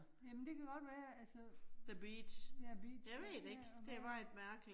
Jamen det kan godt være, altså, ja beach, ja, ja og ja